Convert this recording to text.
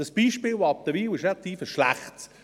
Das Beispiel Wattenwil ist relativ schlecht.